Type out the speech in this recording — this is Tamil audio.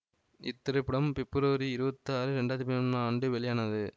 இந்த திரைப்படம் பிப்ரவரி இருபத்தி ஆறு இரண்டு ஆயிரத்தி பதிமூன்னாம் ஆண்டு வெளியானது